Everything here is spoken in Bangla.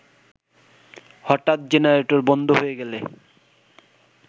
হঠাৎ জেনারেটর বন্ধ হয়ে গেলে